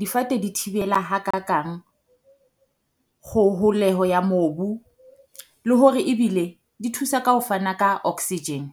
difate di thibela ha kakang kgoholeho ya mobu, le hore ebile di thusa ka ho fana ka oxygen.